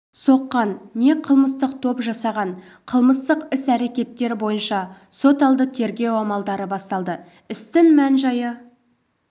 соққан не қылмыстық топ жасаған қылмыстық іс-әрекеттер бойынша сот алды тергеу амалдары басталды істің мән-жайы